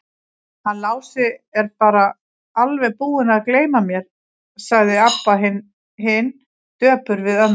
Hann Lási er bara alveg búinn að gleyma mér, sagði Abba hin döpur við ömmu.